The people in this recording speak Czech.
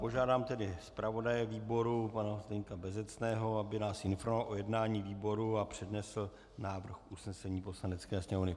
Požádám tedy zpravodaje výboru pana Zdeňka Bezecného, aby nás informoval o jednání výboru a přednesl návrh usnesení Poslanecké sněmovny.